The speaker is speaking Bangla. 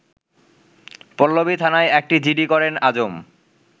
পল্লবীথানায় একটি জিডি করেন আজম